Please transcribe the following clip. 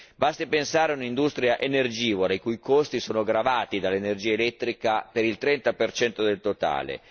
Basti pensare a un'industria energivora i cui costi sono gravati dall'energia elettrica per il 30 percento del totale.